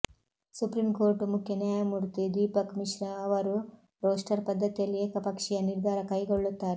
supreme court ಮುಖ್ಯನ್ಯಾಯಮೂರ್ತಿ ದೀಪಕ್ ಮಿಶ್ರಾ ಅವರು roster ಪದ್ಧತಿಯಲ್ಲಿ ಏಕಪಕ್ಷೀಯ ನಿರ್ಧಾರ ಕೈಗೊಳ್ಳುತ್ತಾರೆ